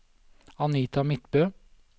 Anita Midtbø